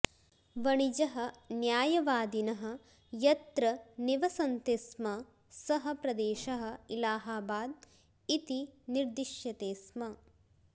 वणिजः न्यायवादिनः यत्र निवसन्ति स्म सः प्रदेशः इलहाबाद् इति निर्दिश्यते स्म